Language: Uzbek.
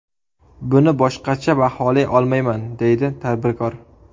Buni boshqacha baholay olmayman”, deydi tadbirkor.